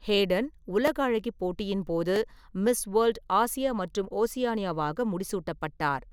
Haden உலக அழகி போட்டியின் போது "மிஸ் வேர்ல்ட் - ஆசியா மற்றும் ஓசியானியா" ஆக முடிசூட்டப்பட்டார்.